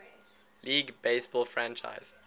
league baseball franchise